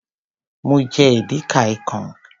Mo jẹ edi ka ikong.